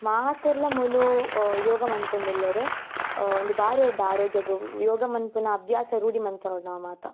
ಮಾತೆರ್ಲ ಮೂಲು ಅಹ್ ಯೋಗ ಮಂತೊಂದುಲ್ಲೆರ್ ಅಹ್ ಉಂದು ಬಾರಿ ಎಡ್ಡೆ ಆರೊಗ್ಯಗ್ ಯೋಗ ಮನ್ಪುನ ಅಭ್ಯಾಸನ್ ರೂಡಿ ಮಂತೊನೊಡ್ ನಮ ಮಾತ.